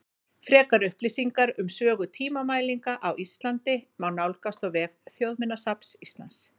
Frekari upplýsingar um sögu tímamælinga á Íslandi má nálgast á vef Þjóðminjasafns Íslands.